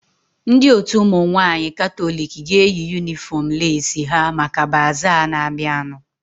Ndị otu ụmụ nwaanyị katọliki ga-eyi yunifọm leesi ha maka bazaa na-abianu